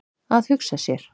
Að hugsa sér!